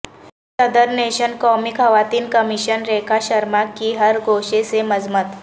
صدر نشین قومی خواتین کمیشن ریکھا شرما کی ہر گوشے سے مذمت